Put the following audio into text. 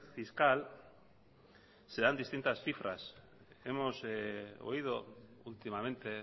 fiscal se dan distintas cifras hemos oído últimamente